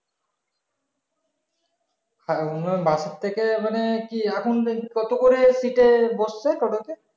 হ্যাঁ bus এর থেকে মানে কি এখন দেখছি কত করে seat এর বসছে টোটোতে